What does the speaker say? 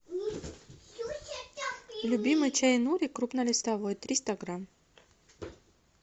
любимый чай нури крупнолистовой триста грамм